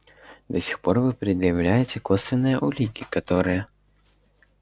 до сих пор вы предъявляете косвенные улики которые